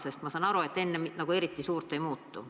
Sest ma saan aru, et enne seda nagu suurt midagi ei muutu.